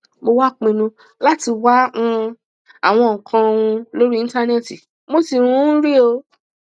mo wá pinnu láti wá um àwọn nǹkan um lórí íńtánẹẹtì mo sì um rí ọ